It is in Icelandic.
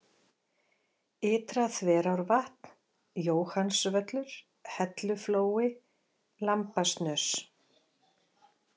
Ytra-Þverárvatn, Jóhannsvöllur, Helluflói, Lambasnös